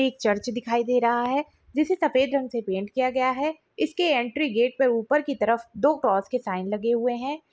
एक चर्च दिखाई दे रहा है जिसे सफेद रंग से पैंट किया गया है इसके एंट्री गेट पे ऊपर की तरफ दो क्रॉस के साइन लगे हुए है ।